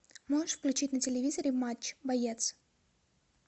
можешь включить на телевизоре матч боец